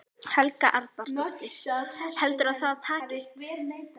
Helga Arnardóttir: Heldurðu að það takist?